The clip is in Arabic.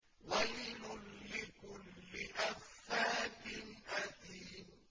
وَيْلٌ لِّكُلِّ أَفَّاكٍ أَثِيمٍ